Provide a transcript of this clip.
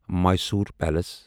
Mysore palace